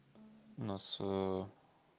нас